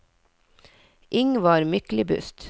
Ingvar Myklebust